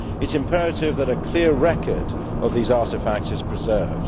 It is imperative that a clear record of these artefacts be preserved.